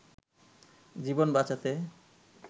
জীবন বাঁচাতে